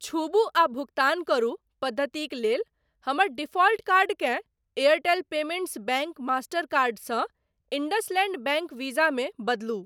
छूबु आ भुगतान करू पद्धतिक लेल हमर डिफाल्ट कार्डकेँ Airtel payments bank master card सँ इंडसलैंड बैंक वीज़ा मे बदलू।